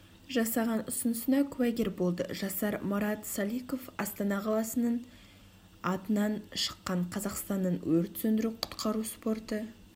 жасаған ұсынысына куәгер болды жасар марат саликов астана қаласының атынан шыққан қазақстанның өрт сөндіру-құтқару спорты